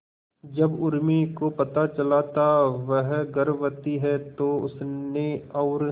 जब उर्मी को पता चला था वह गर्भवती है तो उसने और